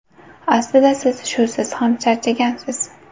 Aslida siz shusiz ham charchagansiz!